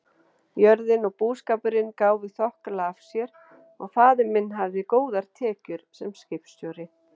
Jörðin og búskapurinn gáfu þokkalega af sér og faðir minn hafði góðar tekjur sem skipstjóri.